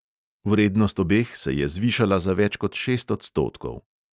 Vrednost obeh se je zvišala za več kot šest odstotkov.